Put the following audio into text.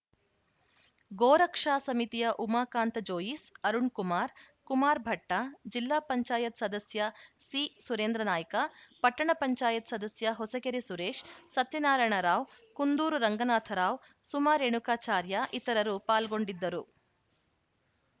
ಗೋರಕ್ಷಾ ಸಮತಿಯ ಉಮಾಕಾಂತ ಜೋಯಿಸ್‌ ಅರುಣ್‌ ಕುಮಾರ್‌ ಕುಮಾರ್‌ ಭಟ್ಟ ಜಿಲ್ಲಾ ಪಂಚಾಯತ್ ಸದಸ್ಯ ಸಿ ಸುರೇಂದ್ರ ನಾಯ್ಕ ಪಟ್ಟಣ ಪಂಚಾಯತ್ ಸದಸ್ಯ ಹೊಸಕೆರೆ ಸುರೇಶ್‌ ಸತ್ಯನಾರಾಯಣರಾವ್‌ ಕುಂದೂರು ರಂಗನಾಥ ರಾವ್‌ ಸುಮಾ ರೇಣುಕಾಚಾರ್ಯ ಇತರರು ಪಾಲ್ಗೊಂಡಿದ್ದರು